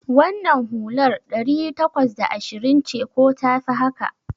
Wannan hular ɗari takwas da ashirin ce ko tafi haka?